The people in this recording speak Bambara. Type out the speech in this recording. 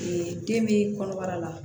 den bɛ kɔnɔbara la